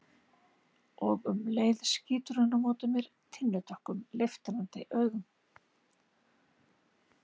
Og um leið skýtur hún á móti mér tinnudökkum, leiftrandi augum.